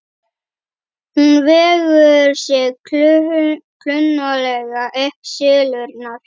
Hún vegur sig klunnalega upp syllurnar.